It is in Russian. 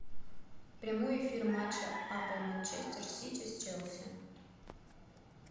прямой эфир матча апл манчестер сити с челси